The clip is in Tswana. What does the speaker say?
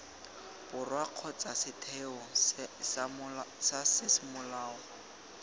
borwa kgotsa setheo sa semolao